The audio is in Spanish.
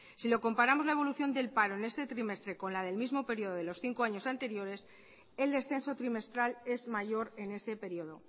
si lo comparamos la evolución del paro en este trimestre con la del mismo periodo de los cinco años anteriores el descenso trimestral es mayor en ese periodo